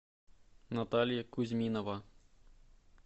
наталья кузьминова